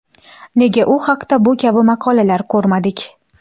Nega u haqda bu kabi maqolalar ko‘rmadik?